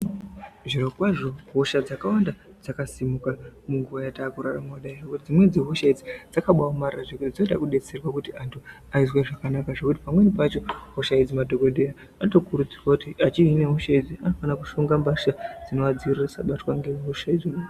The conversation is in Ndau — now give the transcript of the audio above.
Zviro kwazvo hosha dzakawanda dzakasimuka munguwa yatakurarama ineyi. Dzimweni dzehosha idzi dzakabaaomarara zvekuti dzinoda kudetserwa kuti antu azwe zvakanaka zvekuti pamweni pacho madhokodheya anotokurudzirwa kuti apfeke mbatya dzinovadzivirira kuti vasabatwe ngehosha.